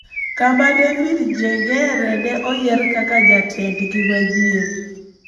kama David Njeng'ere ne oyier kaka jatendgi manyien,